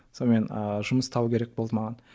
сонымен ыыы жұмыс табу керек болды маған